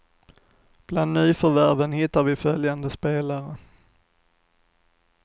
Bland nyförvärven hittar vi följande spelare.